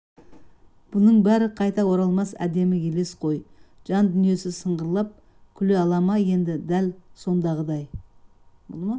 бұның бәрі қайта оралмас әдемі елес қой жан дүниесі сыңғырлап күле ала ма енді дәл сондағыдай